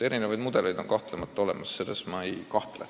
Erinevaid mudeleid on olemas, see on kindel.